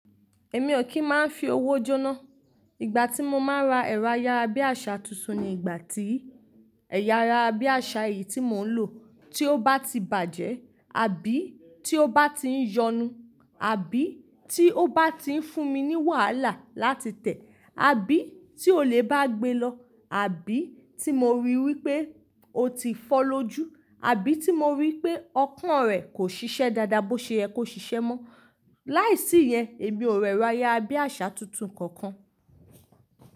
Èmi ò kí ń máa ń fi owó jóná. Ìgbà tí mo máa ń ra ẹ̀rọ ayára bí àṣa tuntun ni ìgbà tí ẹ̀yà ara bí àṣá yìí tí mò ń lò tí ó bá ti bàjẹ́, àbí tí ó bá ti ń yọnu, àbí tí ó bá ti ń fún mi wàhálà láti tẹ̀, àbí tí olè bá gbe lọ, àbí tí mo rí wípé ó ti fọ́ lójú, àbí tí mo rí pé ọpọ́n rẹ̀ kò ṣiṣẹ́ dáadáa bó ṣe yẹ kó ṣiṣẹ́ mọ́. Láìsí ìyẹn èmi ò rẹ̀rọ ayára bí àṣa tuntun kankan.